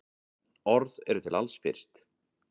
Orð eru til alls fyrst.